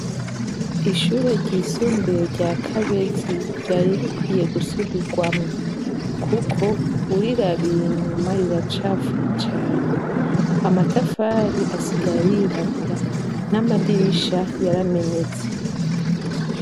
Ishure ry'isumbuye rya Kabezi ryari rikwiye gusubirwamwo kuko urirabiye inyuma riracafuye cane. Amatafari asigaye yirabura, n'amadirisha yaramenetse.